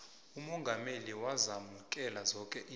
umongameli wazamukela zonke iintjhaba